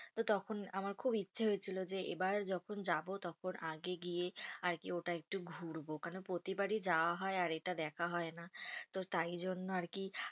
তো তখন আমার খুব ইচ্ছে হয়েছিল যে এবার যখন যাবো তখন আগে গিয়ে আরকি ওটা একটু ঘুড়বো কেন প্রতিবারই যাওয়া হয় আর এটা দেখা হয় না। তো তাই জন্য আরকি